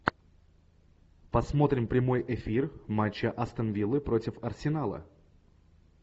посмотрим прямой эфир матча астон виллы против арсенала